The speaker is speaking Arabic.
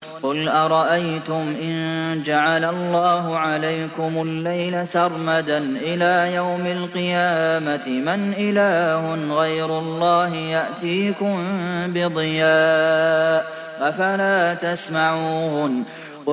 قُلْ أَرَأَيْتُمْ إِن جَعَلَ اللَّهُ عَلَيْكُمُ اللَّيْلَ سَرْمَدًا إِلَىٰ يَوْمِ الْقِيَامَةِ مَنْ إِلَٰهٌ غَيْرُ اللَّهِ يَأْتِيكُم بِضِيَاءٍ ۖ أَفَلَا تَسْمَعُونَ